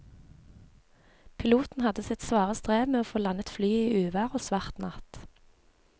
Piloten hadde sitt svare strev med å få landet flyet i uvær og svart natt.